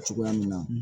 Cogoya min na